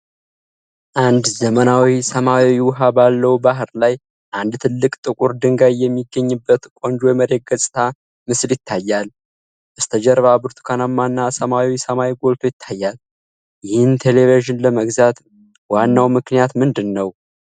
አንድ ዘመናዊ ሰማያዊ ውሃ ባለው ባህር ላይ አንድ ትልቅ ጥቁር ድንጋይ የሚገኝበት ቆንጆ የመሬት ገጽታ ምስል ይታያል። በስተጀርባ ብርቱካናማ እና ሰማያዊ ሰማይ ጎልቶ ይታያል። ይህን ቴሌቪዥን ለመግዛት ዋናው ምክንያት ምንድን ነው?